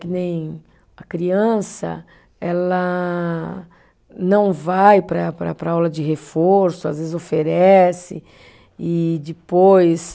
Que nem a criança, ela não vai para para para a aula de reforço, às vezes oferece e depois